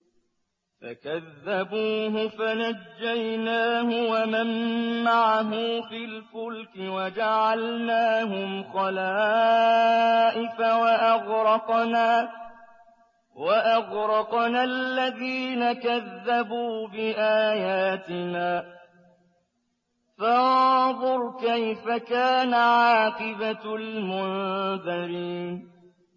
فَكَذَّبُوهُ فَنَجَّيْنَاهُ وَمَن مَّعَهُ فِي الْفُلْكِ وَجَعَلْنَاهُمْ خَلَائِفَ وَأَغْرَقْنَا الَّذِينَ كَذَّبُوا بِآيَاتِنَا ۖ فَانظُرْ كَيْفَ كَانَ عَاقِبَةُ الْمُنذَرِينَ